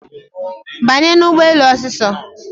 Banye n'ụgbọelu osiso